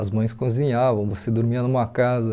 As mães cozinhavam, você dormia numa casa.